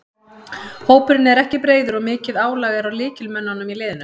Hópurinn er ekki breiður og mikið álag er á lykilmönnunum í liðinu.